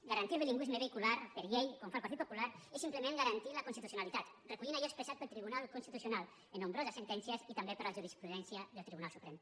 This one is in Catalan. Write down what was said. garantir el bilingüisme vehicular per llei com fa el partit popular és simplement garantir la constitucionalitat recollint allò expressat pel tribunal constitucional en nombroses sentències i també per la jurisprudència del tribunal suprem